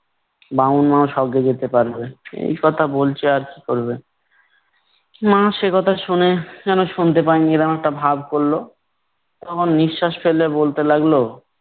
বামুন মাও স্বর্গে যেতে পারবে। এই কথা বলছে আর কি করবে। মা সেকথা শুনে যেন শুনতে পায়নি এমন একটা ভাব করলো। তখন নিশ্বাস ফেলে বলতে লাগলো